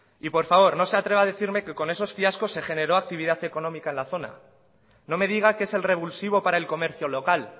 y por favor no se atreva a decirme que con esos fiascos se generó actividad económica en la zona no me diga que es el revulsivo para el comercio local